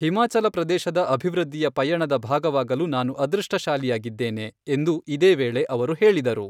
ಹಿಮಾಚಲ ಪ್ರದೇಶದ ಅಭಿವೃದ್ಧಿಯ ಪಯಣದ ಭಾಗವಾಗಲು ನಾನು ಅದೃಷ್ಟಶಾಲಿಯಾಗಿದ್ದೇನೆ, ಎಂದು ಇದೇ ವೇಳೆ ಅವರು ಹೇಳಿದರು.